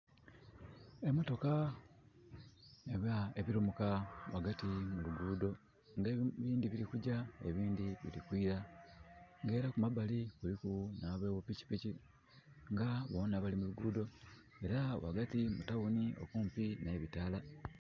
Emotoka oba ebilumuka ghagati mu luguudho. Nga ebindhi bili kugya, ebindhi bili kwila. Nga era kumabali kuliku nhi abo bupikipiki, nga boona bali mu luguudho. Era ghagati mu Town okumpi n'ebitaala...